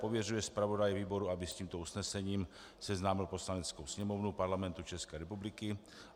Pověřuje zpravodaje výboru, aby s tímto usnesením seznámil Poslaneckou sněmovnu Parlamentu České republiky.